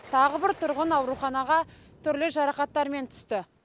тағы бір тұрғын ауруханаға түрлі жарақаттармен түсті